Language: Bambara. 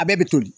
A bɛɛ bɛ toli